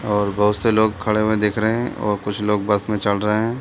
और बहुत से लोग खड़े हुए दिख रहे हैं और कुछ लोग बस में चढ़ रहे हैं |